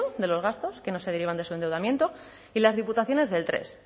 de los gastos que no se derivan de su endeudamiento y las diputaciones del tres